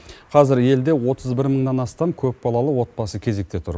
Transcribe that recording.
қазір елде отыз бір мыңнан астам көпбалалы отбасы кезекте тұр